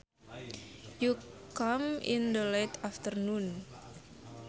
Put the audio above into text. You come in the late afternoon